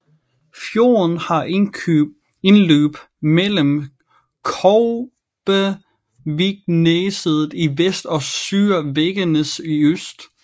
Fjorden har indløb mellem Kobbevikneset i vest og Søre Veggenes i øst